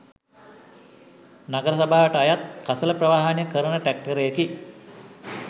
නගර සභාවට අයත් කසළ ප්‍රවාහනය කරන ට්‍රැක්ටරයකි